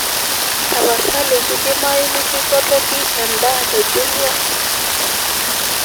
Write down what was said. tapasali kidimayu nikipotoki edaaa te jumia